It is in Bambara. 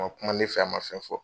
A ma kuma ne fɛ, a ma fɛn fɔ.